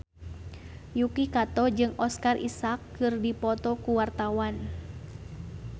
Yuki Kato jeung Oscar Isaac keur dipoto ku wartawan